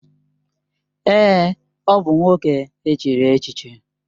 Èè, ọ bụ nwoke e chiri echichi.